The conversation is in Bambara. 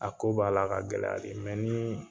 A ko b'ala ka gɛlɛya de mɛ ni